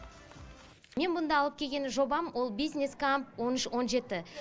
мен мұнда алып келген жобам ол бизнес камп он үш он жеті